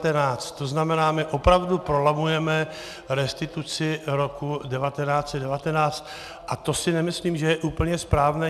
To znamená, my opravdu prolamujeme restituci roku 1919 a to si nemyslím, že je úplně správné.